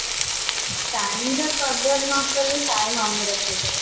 time ର कदर ନକଲେ time ଆମର कदर